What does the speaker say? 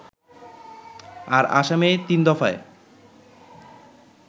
আর আসামে তিনদফায়